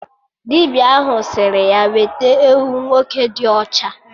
Dibịa ahụ sịrị ya weta ewu nwoke dị ọcha